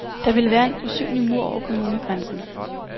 Der ville være en usynlig mur over kommunegrænsen.